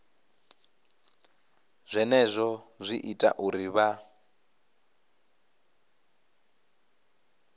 zwenezwo zwi ita uri vha